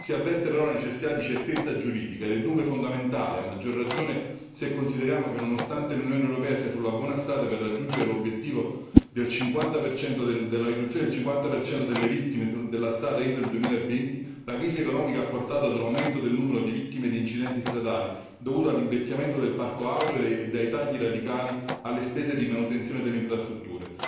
Si avverte però la necessità di certezza giuridica ed è dunque fondamentale, a maggior ragione se consideriamo che, nonostante l'Unione europea sia sulla buona strada per raggiungere l'obiettivo della riduzione del 50 delle vittime della strada entro il 2020, la crisi economica ha portato ad un aumento del numero di vittime di incidenti stradali dovuto all'invecchiamento del parco auto e ai tagli radicali alle spese di manutenzione delle infrastrutture.